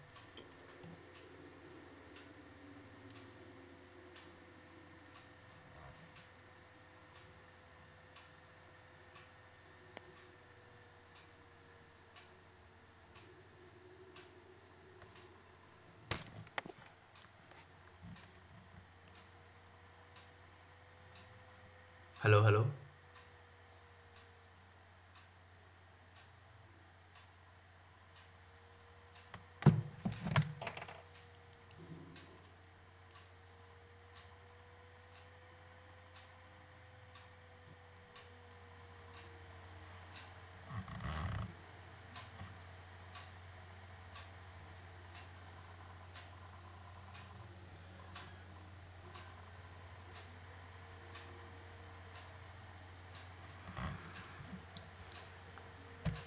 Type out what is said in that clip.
Hello hello